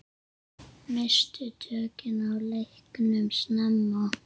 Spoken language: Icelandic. Misstu tökin á leiknum snemma.